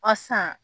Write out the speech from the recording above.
A san